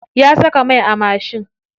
Ya saka mai a mashin.